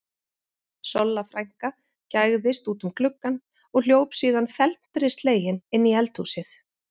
Solla frænka gægðist út um gluggann og hljóp síðan felmtri slegin inn í eldhúsið.